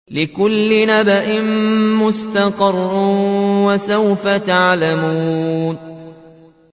لِّكُلِّ نَبَإٍ مُّسْتَقَرٌّ ۚ وَسَوْفَ تَعْلَمُونَ